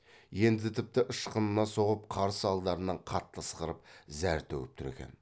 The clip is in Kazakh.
енді тіпті ышқына соғып қарсы алдарынан қатты ысқырып зәр төгіп тұр екен